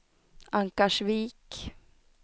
Ankarsvik